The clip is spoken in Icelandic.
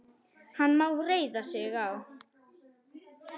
Hann má reiða sig á.